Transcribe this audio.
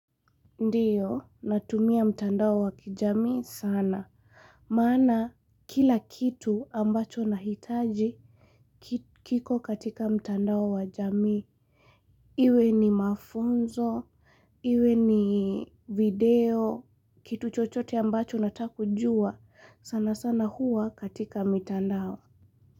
Ndiyo, natumia mtandao wa kijamii sana. Mana, kila kitu ambacho nahitaji kiko katika mtandao wa jamii. Iwe ni mafunzo, iwe ni video, kitu chochote ambacho nataka kujua. Sana sana hua katika mtandao.